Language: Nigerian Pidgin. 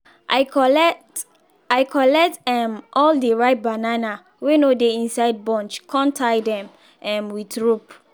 i collect i collect um all the ripe banana wey no dey inside bunch con tie them um with rope